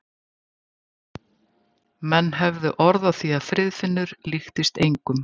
Menn höfðu orð á því að Friðfinnur líktist engum.